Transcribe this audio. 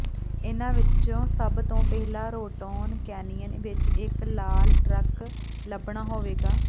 ਇਨ੍ਹਾਂ ਵਿੱਚੋਂ ਸਭ ਤੋਂ ਪਹਿਲਾਂ ਰੋਟੋਨ ਕੈਨਿਯਨ ਵਿੱਚ ਇੱਕ ਲਾਲ ਟਰੱਕ ਲੱਭਣਾ ਹੋਵੇਗਾ